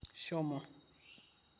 shomo